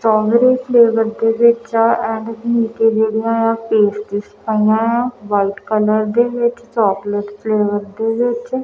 strawberry flavour ਦੇ ਵਿੱਚ pastries ਪਈਆਂ ਆ ਵਾਈਟ ਕਲਰ ਦੇ ਵਿੱਚ ਚੋਕਲੇਟ ਫਲੇਵਰ ਵਿੱਚ--